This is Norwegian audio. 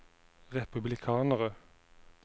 republikanere